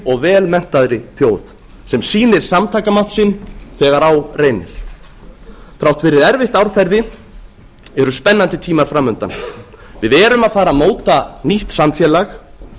og vel menntaðri þjóð sem sýnir samtakamátt sinn þegar á reynir þrátt fyrir erfitt árferði eru spennandi tímar fram undan við erum að fara að móta nýtt samfélag